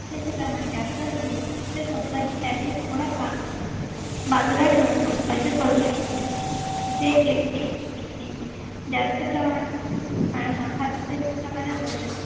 डोक्याचे प्रमाण जास्त असणे तर company त्यातील थोडा भाग बाजूला ठेवून बचत करू शकते जे जास्त प्रमाण प्रमाणात बचत